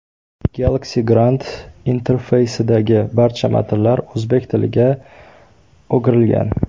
Galaxy Grand interfeysidagi barcha matnlar o‘zbek tiliga o‘girilgan.